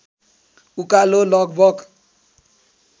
उकालो लगभग